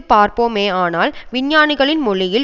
பார்ப்போமேயானால் விஞ்ஞானிகளின் மொழியில்